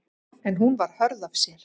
En hún var hörð af sér.